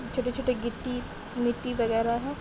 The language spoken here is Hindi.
छोटे-छोटे गिट्टी मट्टी वगेरा है।